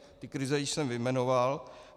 Ty krize jsem již vyjmenoval.